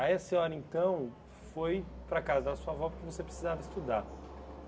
Aí a senhora, então, foi para a casa da sua avó porque você precisava estudar.